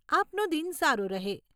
આપનો દિન સારો રહે.